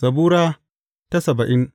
Zabura Sura saba'in